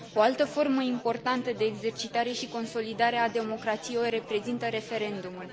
O altă formă importantă de exercitare și consolidare a democrației o reprezintă referendumul